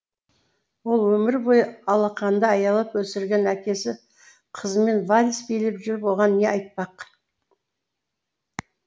ал өмір бойы алақанда аялап өсірген әкесі қызымен вальс билеп жүріп оған не айтпақ